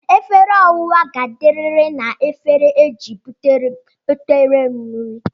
Efere owa ga-adiriri na egefere e ji butere m nri